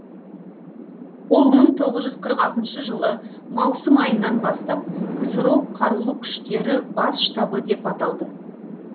ол мың тоғыз жүз қырық алтыншы жылы маусым айынан бастап ксро қарулы күштері бас штабы деп аталды